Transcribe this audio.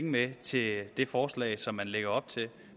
med til det det forslag som man lægger op til